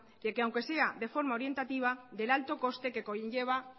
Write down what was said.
de que aunque sea de forma orientativa del alto coste que conlleva